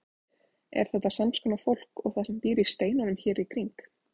Er þetta sams konar fólk og það sem býr í steinunum hér í kring?